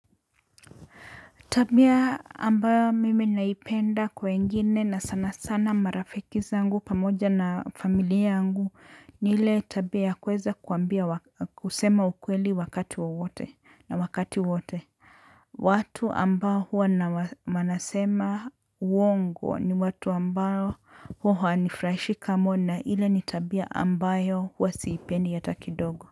Tabia ambayo mimi naipenda kwa wengine na sana sana marafiki zangu pamoja na familia yangu ni ile tabia kuweza kuambia kusema ukweli wakati wowote na wakati wote watu ambao huwa na manasema uongo ni watu ambao huwa hawanifurahishi kama na ile ni tabia ambayo huwa siipendi hata kidogo.